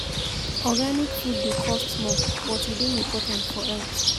Organic food dey cost more, but e dey important for health.